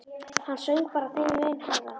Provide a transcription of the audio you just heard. Hann söng bara þeim mun hærra.